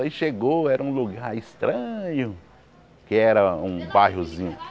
Aí chegou, era um lugar estranho, que era um bairrozinho.